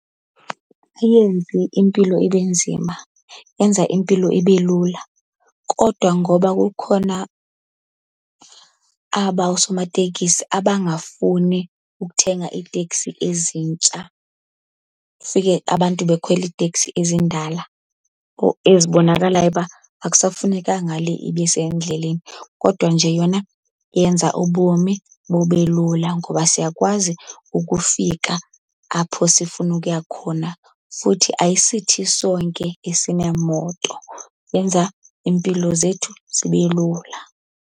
Ayenzi impilo ibe nzima, yenza impilo ibe lula. Kodwa ngoba kukhona aba oosomateksi abangafuni ukuthenga iitekisi ezintsha, kufike abantu bekhwela iiteksi ezindala ezibonakalayo uba akusafunekanga le ibe sendleleni. Kodwa nje yona yenza ubomi bube lula, ngoba siyakwazi ukufika apho sifuna ukuya khona. Futhi ayisithi sonke esineemoto, yenza iimpilo zethu zibe lula.